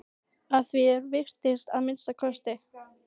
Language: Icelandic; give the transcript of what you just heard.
Að því er virtist að minnsta kosti.